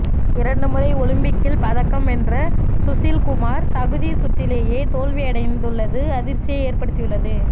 இரண்டு முறை ஒலிம்பிக்கில் பதக்கம் வென்ற சுஷில் குமார் தகுதி சுற்றிலேயே தோல்வியடைந்துள்ளது அதிர்ச்சியை ஏற்படுத்தியுள்ளது